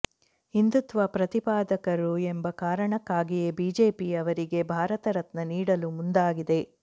ಹಿಂದುತ್ವ ಪ್ರತಿಪಾದಕರು ಎಂಬ ಕಾರಣಕ್ಕಾಗಿಯೇ ಬಿಜೆಪಿ ಅವರಿಗೆ ಭಾರತ ರತ್ನ ನೀಡಲು ಮುಂದಾಗಿದೆ